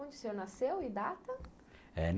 Onde o senhor nasceu e data? Eh